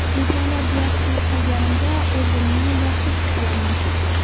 Insonlarga yaxshilik qilganimda, o‘zimni yaxshi his qilaman.